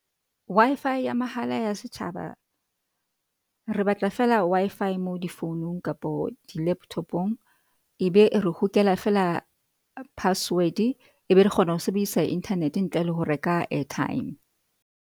Wi-Fi ya mahala ya setjhaba. Re batla fela Wi-Fi mo difounong kapo di-laptop-ong ebe re hokela fela password ebe re kgona ho sebedisa Internet-e ntle le ho reka airtime.